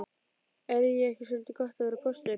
Er ekki soldið gott að vera póstur?